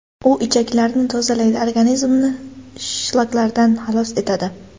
U ichaklarni tozalaydi, organizmni shlaklardan xalos etadi.